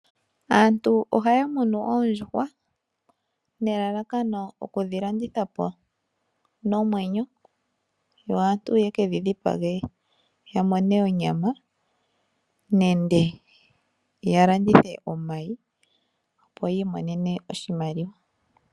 Aantu ohaya munu oondjuhwa nelalakano okudhilanditha po nomwenyo, yo aantu yekedhi dhipage ya mone onyama nenge ya landithe omayi opo yiimonene iimaliwa.